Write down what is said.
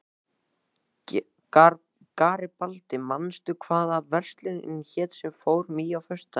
Garibaldi, manstu hvað verslunin hét sem við fórum í á föstudaginn?